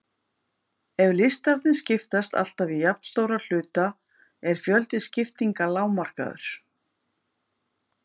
Ef listarnir skiptast alltaf í jafnstóra hluta er fjöldi skiptinga lágmarkaður.